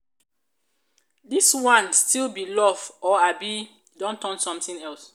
dis one still be love or abi don turn something else?